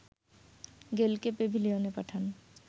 গেইলকে প্যাভিলিয়নে পাঠান